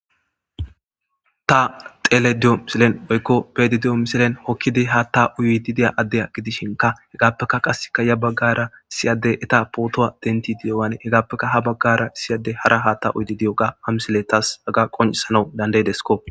Taa xelayidda diyo woyikko be'ayidda diyo missilenni hokkid hatta uyiddi diya adaa gidishshinkka hegappe qase yaa bagara issi adeyi etta photuwa deniththidi diyogganne etappe haa bagara qaa issi adeyi hara hatta uyiddi diyoga haa missileyi qonccissanawu danida'idesskko .